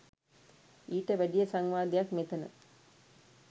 ඊට වැඩිය සංවාදයක් මෙතන